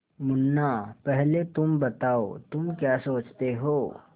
मुन्ना पहले तुम बताओ तुम क्या सोचते हो